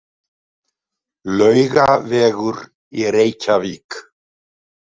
Laugavegur í Reykjavík.